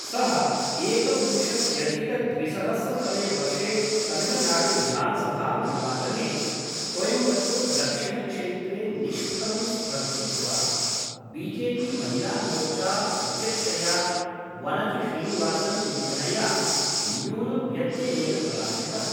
सः एकविंशत्यधिकद्विसहस्रतमे वर्षे तमिलनाडुविधानसभानिर्वाचने कोयम्बतूर् दक्षिणक्षेत्रे निष्फलं स्पर्धित्वा, बि जे पि महिलामोर्चा अध्यक्षया वनति श्रीनिवासन् इत्यनया न्यूनव्यत्ययेन पराजितः।